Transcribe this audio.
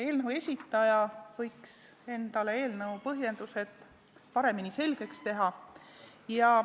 Eelnõu esitaja võiks endale eelnõu põhjendused paremini selgeks teha.